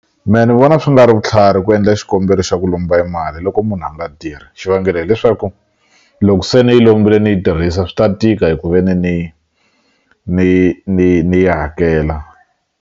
Me ni vona swi nga ri vutlhari ku endla xikombelo xa ku e lomba mali loko munhu a nga tirhi xivangelo hileswaku loko se ni yi lombile ni yi tirhisa swi ta tika hi ku ve ni ni ni ni ni yi hakela.